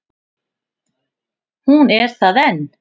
Hún er það enn.